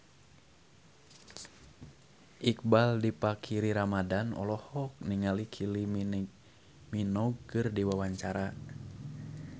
Iqbaal Dhiafakhri Ramadhan olohok ningali Kylie Minogue keur diwawancara